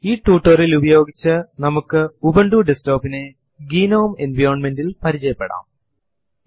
ഈ ടുട്ടോറിയലിലിൽ അടിസ്ഥാനപരവും അതെ സമയം ഏറ്റവും അധികം ഉപയോഗിക്കുന്നതുമായ ലിനക്സ് ലെ ചില കമാൻഡ്സ് കളെയാണ് നമ്മൾ ഇവിടെ പരിചയപ്പെടുത്താൻ പോകുന്നത്